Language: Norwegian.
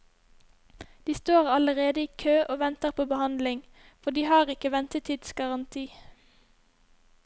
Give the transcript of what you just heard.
De står allerede i kø og venter på behandling, for de har ikke ventetidsgaranti.